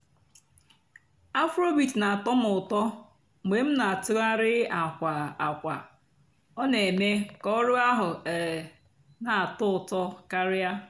afróbeat nà-àtọ́ m ụ́tọ́ mg̀bé m nà-àtụ́ghàrị́ àkwà àkwà; ọ́ nà-èmée kà ọ̀rụ́ àhú́ um nà-àtọ́ ụ́tọ́ kàríá.